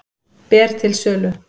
Ber til sölu